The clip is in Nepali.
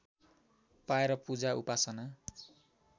पाएर पूजा उपासना